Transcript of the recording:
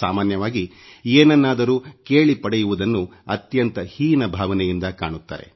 ಸಾಮಾನ್ಯವಾಗಿ ಏನನ್ನಾದರೂ ಕೇಳಿ ಪಡೆಯುವುದನ್ನು ಅತ್ಯಂತ ಹೀನ ಭಾವನೆಯಿಂದ ಕಾಣುತ್ತಾರೆ